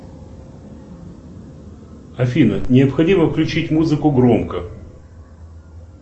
афина необходимо включить музыку громко